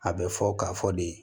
A bɛ fɔ k'a fɔ de